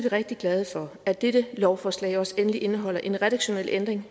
rigtig glade for at dette lovforslag også endelig indeholder en redaktionel ændring